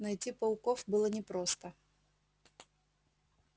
найти пауков было непросто